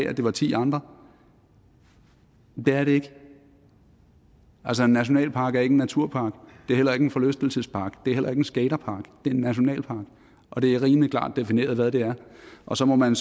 at det var ti andre men det er det ikke altså en nationalpark er ikke en naturpark det er heller ikke en forlystelsespark og det er heller ikke en skaterpark det er en nationalpark og det er rimelig klart defineret hvad det er og så må man